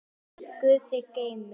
Guð þig geymi.